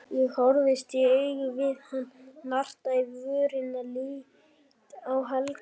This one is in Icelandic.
Ég horfist í augu við hann, narta í vörina, lít á Helga.